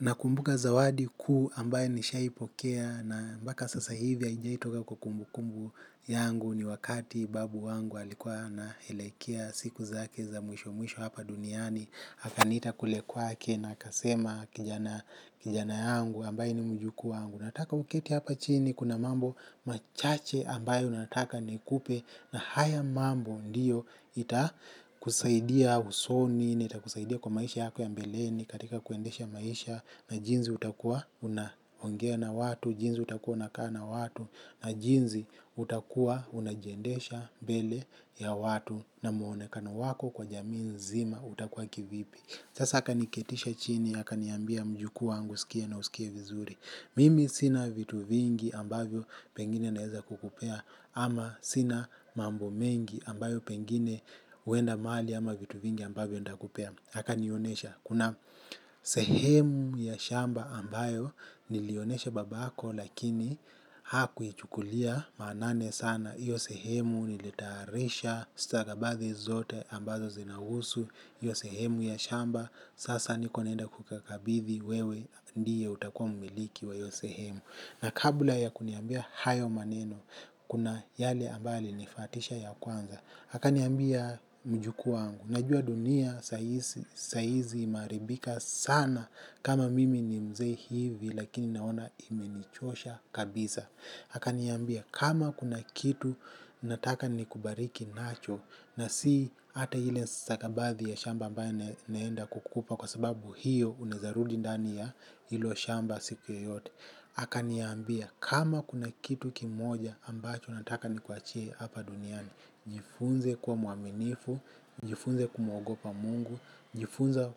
Nakumbuka zawadi kuu ambayo nishawahi pokea na mbaka sasa hivi haijawahi toka kwa kumbu kumbu yangu ni wakati babu yangu alikuwa naelekea siku zake za mwisho mwisho hapa duniani akanita kule kwake na akasema kijana wangu ambaye ni mjukuu wangu nataka uketi hapa chini kuna mambo machache ambayo nataka nikupe na haya mambo ndiyo ita kusaidia usoni, na itakusaidia kwa maisha yako ya mbeleni katika kuendesha maisha na jinzi utakua unaongea na watu, jinsi utakua unakaa na watu na jinsi utakua unajiendesha mbele ya watu na mwonekano wako kwa jamii nzima utakua kivipi. Sasa aka niketisha chini aka niambia mjuku wangu sikia na usikie vizuri. Mimi sina vitu vingi ambavyo pengine naeza kukupea ama sina mambo mengi ambayo pengine huenda mali ama vitu vingi ambavyo ntakupea. Aka nionesha, kuna sehemu ya shamba ambayo nilionesha babako lakini hakuichukulia maanani sana. Hiyo sehemu nilitayarisha, stakabadhi zote ambazo zinahusu, hiyo sehemu ya shamba. Sasa niko nenda kukakabidhi wewe ndiye utakuwa mumiliki wa hiyo sehemu. Na kabla ya kuniambia hayo maneno, kuna yale ambayo anifuatisha ya kwanza. Akaniambia mjukuu wangu najua dunia saizi imeharibika sana kama mimi ni mzee hivi lakini na imenichosha kabisa akaniambia kama kuna kitu nataka ni kubariki nacho na si ata ile stakabadhi ya shamba ambayo naenda kukupa kwa sababu hiyo unaweza rudi ndani ya hilo shamba siku yote. Akaniambia kama kuna kitu kimoja ambacho nataka nikuwachie hapa duniani. Jifunze kuwa mwaminifu, jifunze kumwogopa mungu, jifunze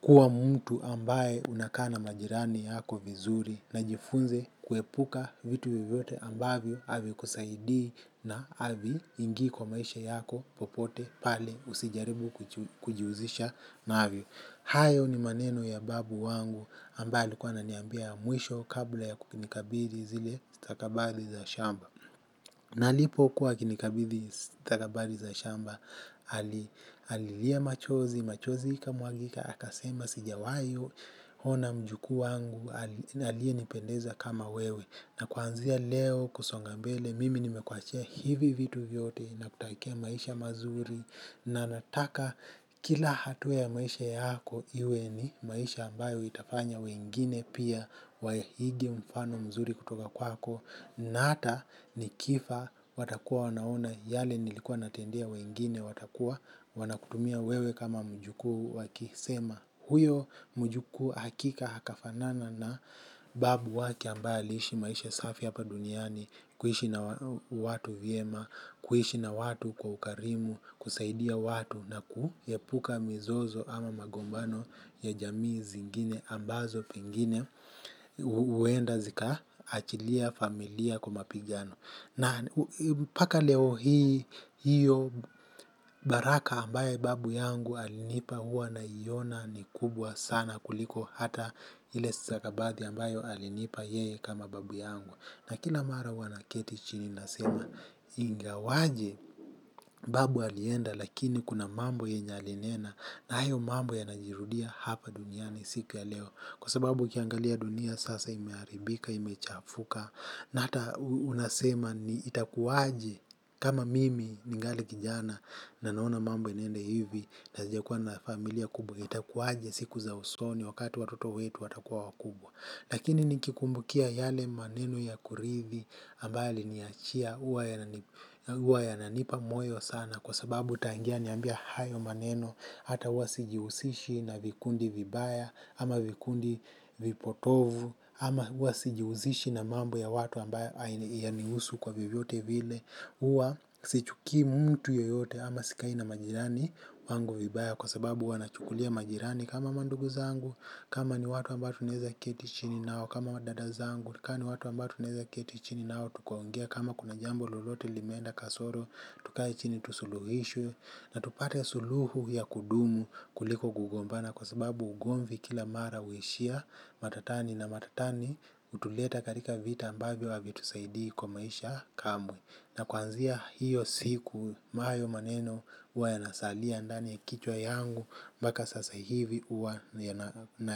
kuwa mtu ambaye unakaa na majirani wako vizuri na jifunze kuepuka vitu vyovyote ambavyo havikusaidii na hiviingi kwa maisha yako popote pale usijaribu kujihusisha navyo. Hayo ni maneno ya babu yangu ambaye alikua ananiambia mwisho kabla ya kukinikabidhi zile stakabadhi za shamba. Na alipo kuwa akinikabidhi stakabadhi za shamba, alilia machozi, machozi ika mwagika, aka sema sijawai, ona mjukuu wangu, aliyenipendeza kama wewe. Na kwanzia leo kusonga mbele mimi nimekuwachia hivi vitu vyote na kutakia maisha mazuri na nataka kila hatua ya maisha yako iwe ni maisha ambayo itafanya wengine pia waige mfano mzuri kutoka kwako na ata nikifa watakuwa wanaona yale nilikuwa natendea wengine watakuwa wanakutumia wewe kama mjukuu wakisema huyo mjukuu hakika akafanana na babu yake ambaye ilishi maisha safi hapa duniani. Kuhishi na watu vyema, kuhishi na watu kwa ukarimu, kusaidia watu na kuepuka mizozo ama magombano ya jamii zingine ambazo pengine huenda zika achilia familia kwa mapigano. Na mpaka leo hii hio baraka ambayo babu yangu alinipa huwa na iona ni kubwa sana kuliko hata ile stakabadhi ambayo alinipa yeye kama babu yangu. Na kila mara hua naketi chini nasema ingawaje babu alienda lakini kuna mambo yenye alinena na hayo mambo yanajirudia hapa duniani siku ya leo. Kwa sababu ukiangalia dunia sasa imeharibika imechafuka na ata unasema ni itakuwaje kama mimi ningali kijana na naona mambo inaenda hivi na sijakua na familia kubwa itakuwa aje siku za usoni wakati watoto wetu watakua wakubwa lakini nikikumbuka yale maneno ya kuridhi ambayo aliniwachia huwa huwa yananipa moyo sana kwa sababu tangia aniambia hayo maneno. Hata huwa sijihusishi na vikundi vibaya ama vikundi vipotovu ama huwa sijihuzishi na mambo ya watu ambayo hainihusu kwa vyoyote vile huwa sichuki mtu yoyote ama sikai na majirani wangu vibaya kwa sababu wanachukulia majirani kama mandugu zangu kama ni watu ambao tuneza keti chini nao kama madada zangu kani watu amba tuneza kieti chini nao tukaongea kama kuna jambo lolote limeenda kasoro tukai chini tusuluhishe na tupate suluhu ya kudumu kuliko gugombana kwa sababu ugomvi kila mara huishia matatani na matatani hutuleta katika vita ambavyo havitusaidii kwa maisha kamwe na kwanzia hiyo siku hayo maneno huwa yanasalia ndani ya kichwa changu mpaka sasa hivi huwa na.